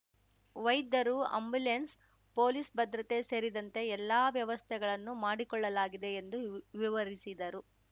ವೈದ್ಯರು ambulance police ಭದ್ರತೆ ಸೇರಿದಂತೆ ಎಲ್ಲ ವ್ಯವಸ್ಥೆಗಳನ್ನು ಮಾಡಿಕೊಳ್ಳಲಾಗಿದೆ ಎಂದು ವಿ ವಿವರಿಸಿದರು